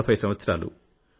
40 సంవత్సరాలు